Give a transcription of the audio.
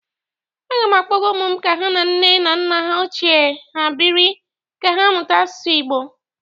Aga m akpọga ụmụ m ka ha na nne na nna ochie ha bịrị ka ha mmụta asụsụ Igbo.